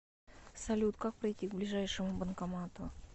салют как пройти к ближайшему банкомату